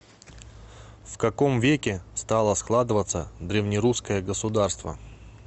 в каком веке стало складываться древнерусское государство